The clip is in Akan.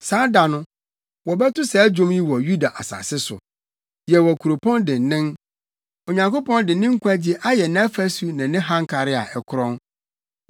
Saa da no, wɔbɛto saa dwom yi wɔ Yuda asase so: Yɛwɔ kuropɔn dennen; Onyankopɔn de nkwagye ayɛ nʼafasu ne ne hankare a ɛkorɔn.